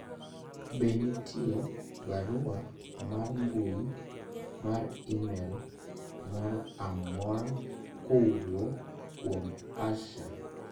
be nitie barua mar mbui mar email mor amora kowuok kuom Asha